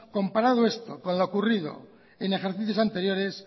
comparado esto con lo ocurrido en ejercicios anteriores